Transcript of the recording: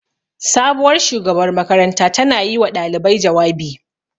Sabuwar shugabar makaranta ta na yi wa ɗalibai jawabi